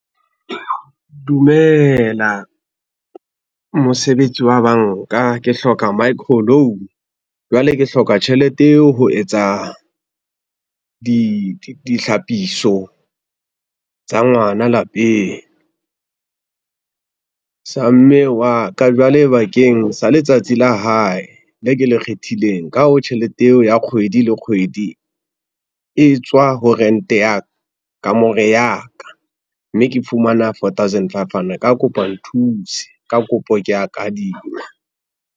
Dumela, mosebetsi wa banka ke hloka micro loan, jwale ke hloka tjhelete eo ho etsa ditlhapiso tsa ngwana lapeng, sa mme wa ka jwale bakeng sa letsatsi la hae le ke le kgethileng. Ka hoo, tjhelete eo ya kgwedi le kgwedi e tswa ho rente ya kamore ya ka, mme ke fumana fourthousand fivehundred ka kopo nthuse, ka kopo ke a kadima.